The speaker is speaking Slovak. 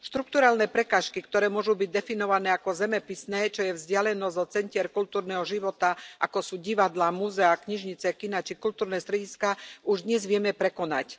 Štrukturálne prekážky, ktoré môžu byť definované ako zemepisné, čo je vzdialenosť od centier kultúrneho života, ako sú divadlá, múzeá, knižnice, kiná či kultúrne strediská, už dnes vieme prekonať.